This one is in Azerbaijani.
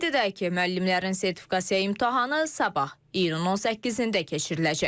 Qeyd edək ki, müəllimlərin sertifikasiya imtahanı sabah iyun 18-də keçiriləcək.